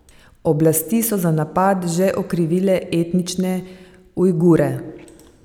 Oblasti so za napad že okrivile etnične Ujgure.